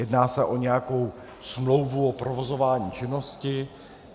Jedná se o nějakou smlouvu o provozování činnosti?